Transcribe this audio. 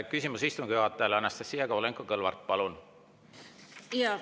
Küsimus istungi juhatajale, Anastassia Kovalenko-Kõlvart, palun!